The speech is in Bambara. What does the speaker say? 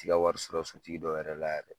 Ti ka wari sɔrɔ sotigi dɔ yɛrɛ la yɛrɛ